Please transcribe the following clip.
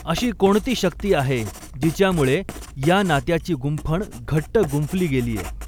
अशी कोणती शक्ती आहे जिच्यामुळे या नात्याची गुंफ़ण घट्ट गुंफ़ली गेलीय.